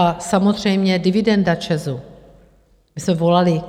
A samozřejmě dividenda ČEZu, my jsme volali...